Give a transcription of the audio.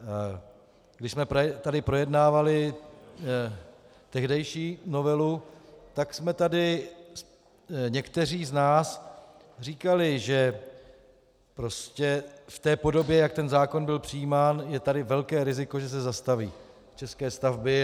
Když jsme tady projednávali tehdejší novelu, tak jsme tady někteří z nás říkali, že prostě v té podobě, jak ten zákon byl přijímán, je tady velké riziko, že se zastaví české stavby.